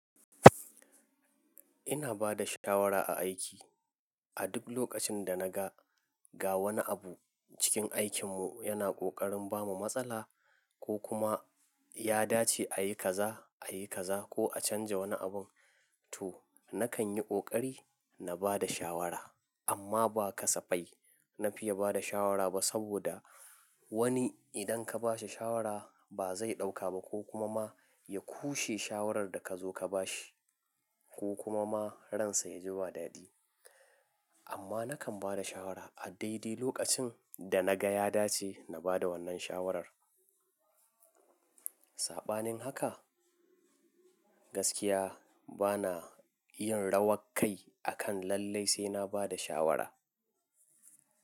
Ina ba da shawara a aiki. A duk lokacin da na ga wani abu cikin aikinmu yana ƙoƙarin bamu matsala ko kuma ya dace a yi kaza, a yi kaza ko a canza wani abun, to nakan yi ƙoƙari na ba da shawara. Amma ba kasafai na fiye ba da shawara ba saboda wani idan ka ba shi shawara ba zai ɗauka ba ko kuma ma ya ƙushe shawarar da ka zo ka ba shi ko kuma ma ransa ya ji ba dadi. Amma nakan ba da shawara a daidai lokacin da na ga ya dace na ba da wannan shawarar. Saɓanin haka, gaskiya bana yin rawankai akan lallai sai na ba da shawara.